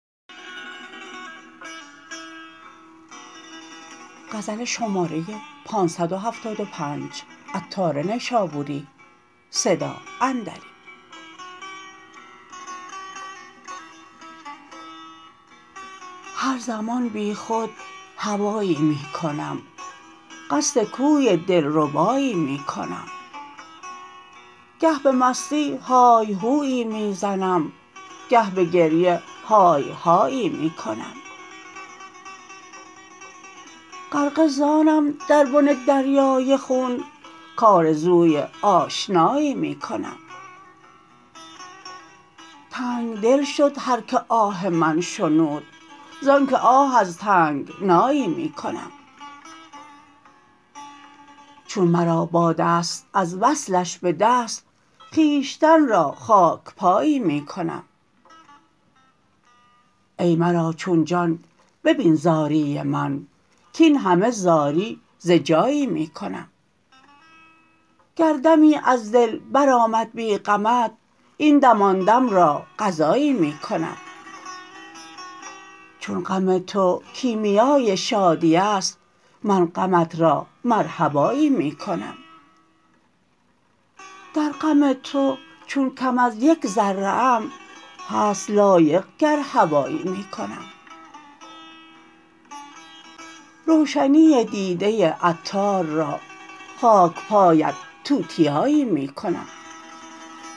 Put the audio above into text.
هر زمان بی خود هوایی می کنم قصد کوی دلربایی می کنم گه به مستی های هویی می زنم گه به گریه های هایی می کنم غرقه زانم در بن دریای خون کارزوی آشنایی می کنم تنگ دل شد هر که آه من شنود زانکه آه از تنگنایی می کنم چون مرا باد است از وصلش به دست خویشتن را خاک پایی می کنم ای مرا چون جان ببین زاری من کین همه زاری ز جایی می کنم گر دمی از دل برآمد بی غمت این دم آن دم را قضایی می کنم چون غم تو کیمیای شادی است من غمت را مرحبایی می کنم در غم تو چون کم از یک ذره ام هست لایق گر هوایی می کنم روشنی دیده عطار را خاک پایت توتیایی می کنم